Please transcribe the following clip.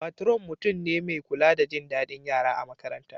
Patron mutum ne mai kula da jin dadin yara a makaranta.